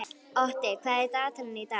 Otti, hvað er í dagatalinu í dag?